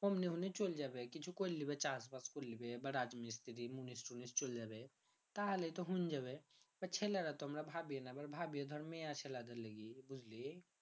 অমনি অমনি এ চইল যাবে কিছু কৈর লিবে চাষ বাস কৈর লিবে চইল যাবে ছেলেরা তো আমরা ভাবি না ভাবিও তো ধরে মেয়ে ছেলে দের লিগে বুঝলি